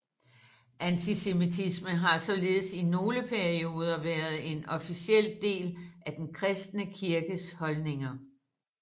Antisemitisme har således i nogle perioder været en officiel del af den kristne kirkes holdninger